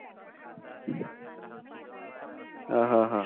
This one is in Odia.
ଅହଃ ହ ହ